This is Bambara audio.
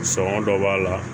Sɔngɔ dɔ b'a la